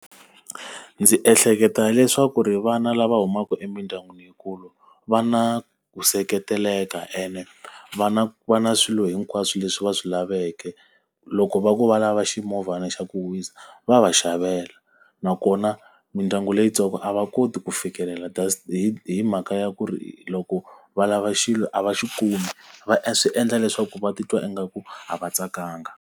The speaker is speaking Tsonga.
Ndzi ehleketa leswaku ri vana lava humaka emindyangwini yikulu va na ku seketeleka ene va na va na swilo hinkwaswo leswi va swi laveke. Loko va ku va lava ximovhana xa ku huhisa, va va xavela. Nakona mindyangu leyintsongo a va koti ku fikelela hi hi mhaka ya ku ri loko va lava xilo a va xi kumi. Va swi endla leswaku va titwa ingaku a va tsakanga.